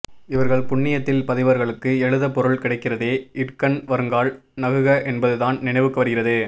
இவர்கள் புண்ணியத்தில் பதிவர்களுக்கு எழுத பொருள் கிடைக்கிறதே இடுக்கண் வருங்கால் நகுக என்பதுதான் நினைவுக்கு வருகிறது